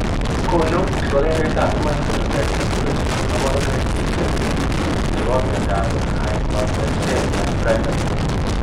Konu kibagengeitab Human Phenotype Ontology kaborunoik cheisubi chebo miondop Hypomagnesemia primary